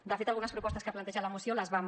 de fet algunes propostes que planteja la moció les vam